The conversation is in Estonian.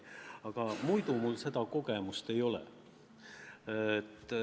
Aga muidu mul seda kogemust ei ole.